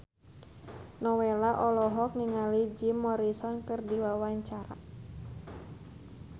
Nowela olohok ningali Jim Morrison keur diwawancara